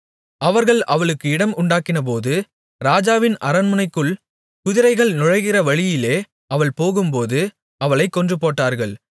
அவர்கள் அவளுக்கு இடம் உண்டாக்கினபோது ராஜாவின் அரண்மனைக்குள் குதிரைகள் நுழைகிற வழியிலே அவள் போகும்போது அவளைக் கொன்றுபோட்டார்கள்